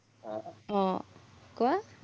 আহ কোৱা